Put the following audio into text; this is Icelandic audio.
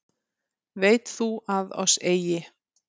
Veit þú að oss eigi